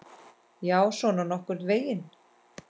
Já, svona nokkurn veginn.